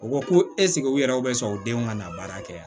U ko ko u yɛrɛw bɛ sɔn u denw ka na baara kɛ yan